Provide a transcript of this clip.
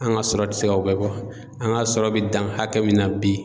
An ka sɔrɔ tɛ se ka o bɛɛ bɔ an ka sɔrɔ bɛ dan hakɛ min na bi